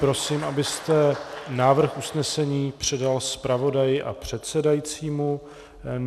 Prosím, abyste návrh usnesení předal zpravodaji a předsedajícímu.